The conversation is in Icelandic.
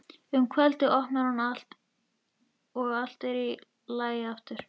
Um kvöldið opnar hún og allt er í lagi aftur.